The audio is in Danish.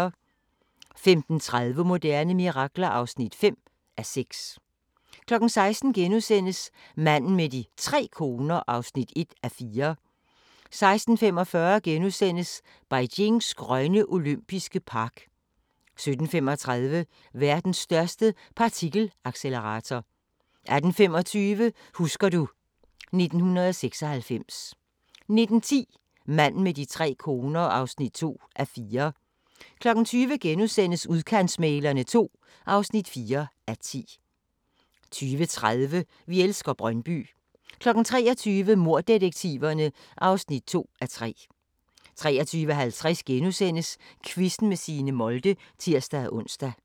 15:30: Moderne mirakler (5:6) 16:00: Manden med de tre koner (1:4)* 16:45: Beijings grønne olympiske park * 17:35: Verdens største partikelaccelerator 18:25: Husker du ... 1996 19:10: Manden med de tre koner (2:4) 20:00: Udkantsmæglerne II (4:10)* 20:30: Vi elsker Brøndby 23:00: Morddetektiverne (2:3) 23:50: Quizzen med Signe Molde *(tir-ons)